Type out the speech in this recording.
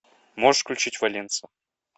можешь включить валенсо